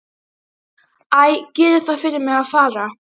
Æ, gerið það fyrir mig að fara.